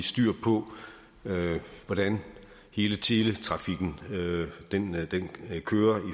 styr på hvordan hele teletrafikken kører